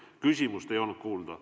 Küsimust ei olnud kuulda.